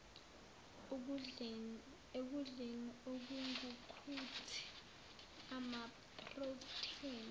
ekudleni okungukuthi amaprotheni